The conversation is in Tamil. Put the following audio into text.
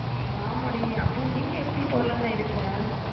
ஆமா டி அப்போ நீ எப்பிடி போலாம்ன்னு இருக்க